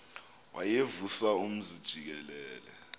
wayevusa umzi jikelele